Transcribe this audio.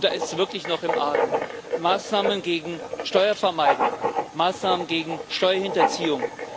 Und da ist es wirklich noch im Argen Maßnahmen gegen Steuervermeidung, Maßnahmen gegen Steuerhinterziehung.